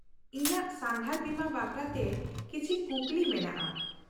-ᱤᱧᱟᱹᱜ ᱥᱟᱸᱜᱷᱟᱨ ᱵᱤᱢᱟ ᱵᱟᱠᱷᱨᱟᱛᱮ ᱠᱤᱪᱷᱤ ᱠᱩᱠᱞᱤ ᱢᱮᱱᱟᱜᱼᱟ ?